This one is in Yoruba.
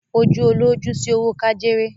à kò fòjú olóòjú sí òwó kájéré.